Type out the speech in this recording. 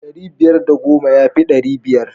Ɗari biyar da goma yafi ɗari biyar.